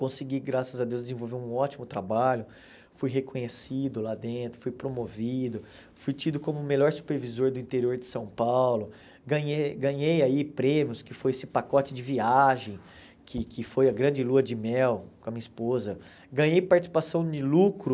consegui, graças a Deus, desenvolver um ótimo trabalho, fui reconhecido lá dentro, fui promovido, fui tido como o melhor supervisor do interior de São Paulo, ganhei ganhei aí prêmios, que foi esse pacote de viagem, que que foi a grande lua de mel com a minha esposa, ganhei participação de lucro